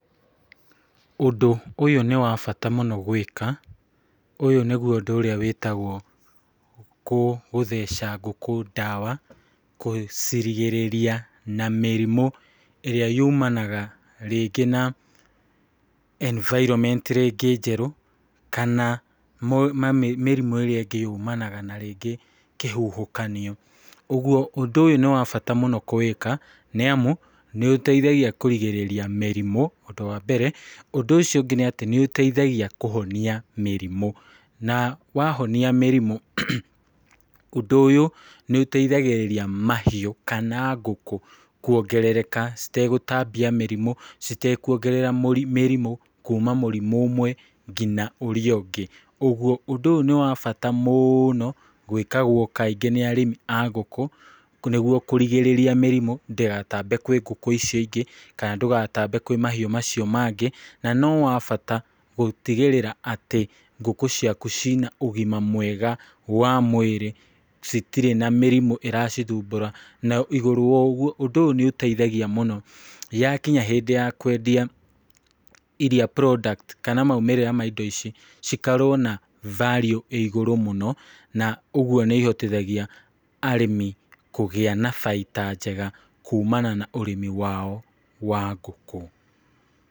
Ũndũ ũyũ nĩ wabata mũno gwĩka, ũyũ nĩguo ũndũ ũrĩa wĩtagwo kũ gũtheca ngũkũ ndawa, kũcirigĩrĩria na mĩrimũ ĩrĩa yumanaga rĩngĩ na environment rĩngĩ njerũ, kana mo ma mĩrimũ ĩrĩa ĩngĩ yumanaga na rĩngĩ kĩhuhũkania, ũguo ũndũ ũyũ nĩ wabata mũno kũwĩka, nĩ amu nĩ ũteithagia kũrigĩrĩria mĩrimũ, ũndũ wa mbere, ũndũ ũcio ũngĩ nĩ atĩ, nĩ ũteithagia kũhonia mĩrimũ, na wahonia mĩrimũ, ũndũ ũyũ nĩ ũteithagĩrĩria mahiũ, kana ngũkũ, kwongerereka citegũtambia mĩrimũ, citekuongerera mũ mĩrimũ, kuuma mũrimũ ũmwe ngina ũria ũngĩ, ũguo, ũndũ ũyũ nĩ wabata mũnoo, gwĩkagwo kaingĩ nĩ arĩmi a ngũkũ, nĩguo kũrigĩrĩria mĩrimũ, ndĩgatambe kwĩ ngũkũ icio ingĩ, kana ndũgatambe kwĩ mahiũ macio mangĩ, na no wabata gũtigĩrĩra atĩ ngũkũ ciaku cina ũgima mwega wa mwĩrĩ, citirĩ na mĩrimũ ĩracithubũra, na igũrũ woguo, ũndo ũyũ nĩ ũteithagia mũno, yakinya hĩndĩ ya kwendia iria product, kana maimĩrĩra ma indo ici, cikorwo na value ĩigũrũ mũno, na ũguo nĩ ihotithagia arĩmi kũgĩa na baita njega kumana na ũrĩmi wao wa ngũkũ.